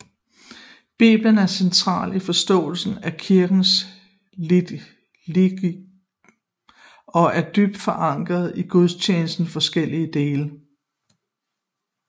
Bibelen er central i forståelsen af kirkens liturgi og er dybt forankret i gudstjenestens forskellige dele